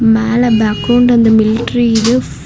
மேல பேக்ரவுண்ட்ல அந்த மிலிட்டரி இது --